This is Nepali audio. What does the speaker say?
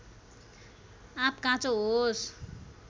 आँप काँचो होस्